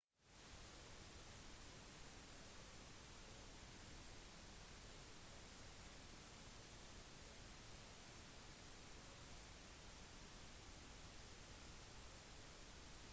la oss starte med en forklaring på italia sine planer. hovedsakelig var italia «lillebroren» til tyskland og japan